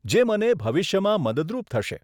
જે મને ભવિષ્યમાં મદદરૂપ થશે.